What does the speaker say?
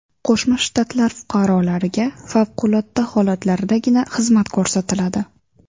Qo‘shma Shtat fuqarolariga favqulodda holatlardagina xizmat ko‘rsatiladi.